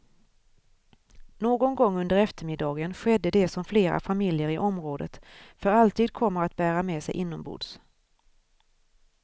Någon gång under eftermiddagen skedde det som flera familjer i området för alltid kommer att bära med sig inombords.